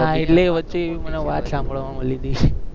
વચ્ચે મને વાત સાંભળવા મળી તી